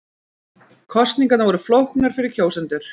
Kosningarnar voru flóknar fyrir kjósendur